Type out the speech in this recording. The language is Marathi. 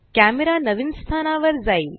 कॅमरा नवीन स्थानावर जाईल